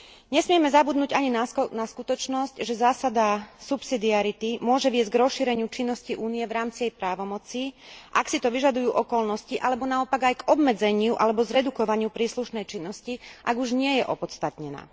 Nesmieme zabudnúť ani na skutočnosť, že zásada subsidiarity môže viesť k rozšíreniu činnosti Únie v rámci jej právomoci, ak si to vyžadujú okolnosti, alebo naopak, aj k obmedzeniu alebo zredukovaniu príslušnej činnosti, ak už nie je opodstatnená.